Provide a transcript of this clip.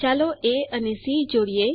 ચાલો એ અને સી જોડીએ